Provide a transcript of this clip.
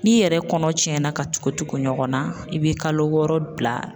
N'i yɛrɛ kɔnɔ tiɲɛ na ka tuku tuku ɲɔgɔn na i be kalo wɔɔrɔ bila.